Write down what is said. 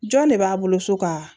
Jɔn ne b'a bolo so ka